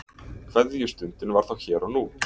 Kveðjustundin var þá hér og nú.